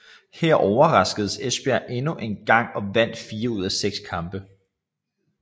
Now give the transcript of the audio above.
Her overraskede Esbjerg endnu engang og vandt 4 ud af 6 kampe